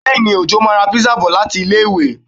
Bẹ́èni, Òjó máa ra pizza bọ̀ láti ilé-ìwé